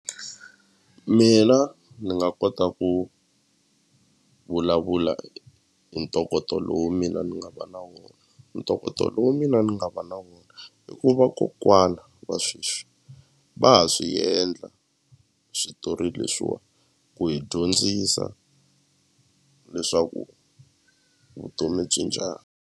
Mina ni nga kota ku vulavula hi ntokoto lowu mina ni nga va na wona ntokoto lowu mina ni nga va na wona i ku va kokwana wa sweswi va ha swi endla switori leswiwani ku hi dyondzisa leswaku vutomi byi njhani.